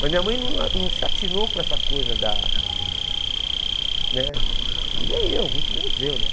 Mas minha mãe não a não se atinou por essa coisa da né... E nem eu, muito menos eu, né?